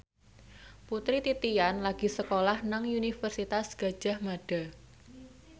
Putri Titian lagi sekolah nang Universitas Gadjah Mada